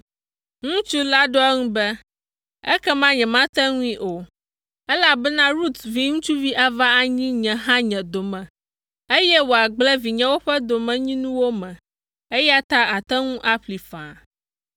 Ŋutsu la ɖo eŋu be, “Ekema nyemate ŋui o, elabena Rut viŋutsu ava anyi nye hã nye dome, eye wòagblẽ vinyewo ƒe domenyinuwo me, eya ta àte ŋu aƒlee faa.”